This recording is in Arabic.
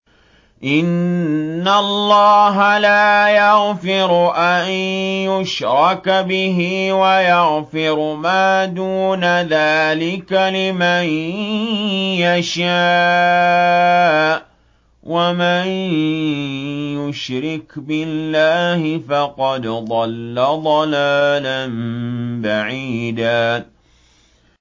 إِنَّ اللَّهَ لَا يَغْفِرُ أَن يُشْرَكَ بِهِ وَيَغْفِرُ مَا دُونَ ذَٰلِكَ لِمَن يَشَاءُ ۚ وَمَن يُشْرِكْ بِاللَّهِ فَقَدْ ضَلَّ ضَلَالًا بَعِيدًا